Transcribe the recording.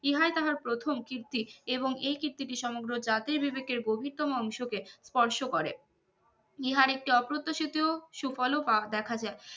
ইহাই তার প্রথম কীর্তি এবং এই কীর্তিটি সমগ্র জাতির বিবেকে গভীরতম অংশকে স্পর্শ করে ইহার একটি অপ্রত্যাশিত সুফল পাওয়া দেখা যায়